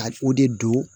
A o de don